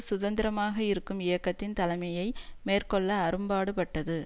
சுதந்திரமாக இருக்கும் இயக்கத்தின் தலைமையை மேற்கொள்ள அரும்பாடுபட்டது